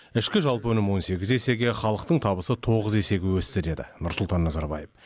ішкі жалпы өнім он сегіз есеге халықтың табысы тоғыз есеге өсті деді нұрсұлтан назарбаев